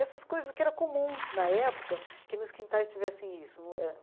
Essas coisas que eram comum na época, que nos quintais tivessem isso no ãh.